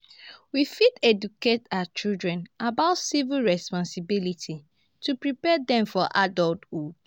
we fit educate our children about civic responsibilities to prepare dem for adulthood.